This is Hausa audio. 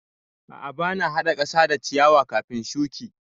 A'a ba na haɗa ƙasa da ciyawa kafin shuki.